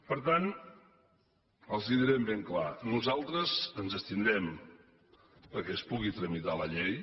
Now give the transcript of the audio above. per tant els ho direm ben clar nosaltres ens abstindrem perquè es pugui tramitar la llei